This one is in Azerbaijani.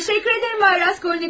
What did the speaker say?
Təşəkkür edirəm, bay Raskolnikov.